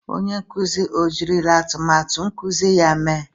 Onye nkuzi ejirila atụmatụ nkuzi ya mee?